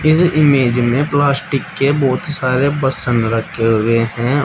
इस इमेज में प्लास्टिक के बहुत सारे बसन रखे हुए हैं।